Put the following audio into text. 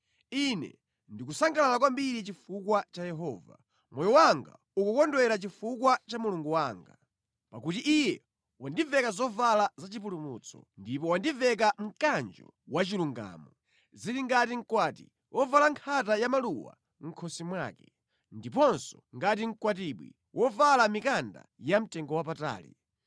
Ine ndikusangalala kwambiri chifukwa cha Yehova; moyo wanga ukukondwera chifukwa cha Mulungu wanga. Pakuti Iye wandiveka zovala zachipulumutso, ndipo wandiveka mkanjo wachilungamo. Zili ngati mkwati wovala nkhata ya maluwa mʼkhosi mwake, ndiponso ngati mkwatibwi wovala mikanda yamtengowapatali.